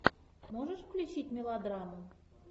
можешь включить мелодраму